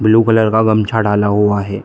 Blue colour का गमछा डाला हुआ है।